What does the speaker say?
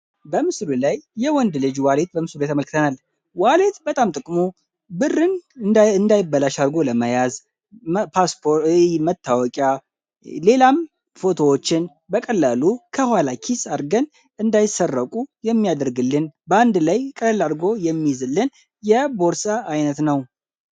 በምስሉ ላይ የወንድ ልጅ በምስል ላይ ተመልክተናል ወሊድ ጥቅሙ ብር እንዳይበላሽ አድርጎ ለመያዝ ፎቶዎችን ሌላም በቀላሉ አንድ ላይ አድርገን እንዳይሰረቁ የሚያደርግልን በአንድ ላይ ቀላል አድርጎ የሚይዝልን የቦርሳ ዓይነት ነው።